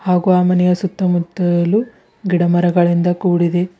ಹಾಗು ಆ ಮನೆಯ ಸುತ್ತ ಮುತ್ತಲು ಗಿಡ ಮರಗಳಿಂದ ಕೂಡಿದೆ.